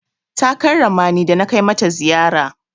Ta karrama ni da na kai mata ziyara.